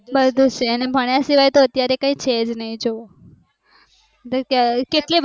બધું છે અને ભણ્યા સિવાય તો અત્યારે કૈક છેજ ની જોવો